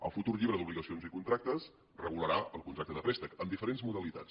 el futur llibre d’obligacions i contractes regularà el contracte de préstec amb diferents modalitats